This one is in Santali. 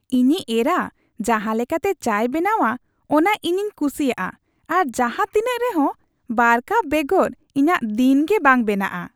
ᱤᱧᱤᱡ ᱮᱨᱟ ᱡᱟᱦᱟᱸ ᱞᱮᱠᱟᱛᱮ ᱪᱟᱭ ᱵᱮᱱᱟᱣᱟ ᱚᱱᱟ ᱤᱧᱤᱧ ᱠᱩᱥᱤᱭᱟᱜᱼᱟ ᱟᱨ ᱡᱟᱦᱟᱸ ᱛᱤᱱᱟᱹᱜ ᱨᱮᱦᱚᱸ ᱒ ᱠᱟᱯ ᱵᱮᱜᱚᱨ ᱤᱧᱟᱹᱜ ᱫᱤᱱ ᱜᱮ ᱵᱟᱝ ᱵᱮᱱᱟᱜᱼᱟ ᱾